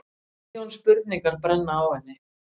Milljón spurningar brenna á henni.